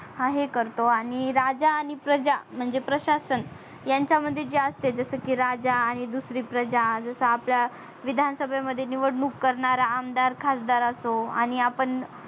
आहे करतो आणि राजा आणि प्रजा म्हणजे प्रशासन यांच्या मध्ये जे असत जस की राजा आणि दुसरी प्रजा जस आपल्या विधान सभा मध्ये निवडणून करणारा आमदार खासदार असतो आणि आपण